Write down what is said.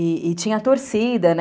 E tinha torcida, né?